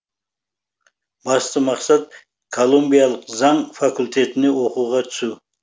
басты мақсат колумбиялық заң факультетіне оқуға түсу